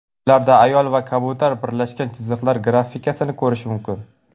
Ularda ayol va kabutar birlashgan chiziqlar grafikasini ko‘rish mumkin.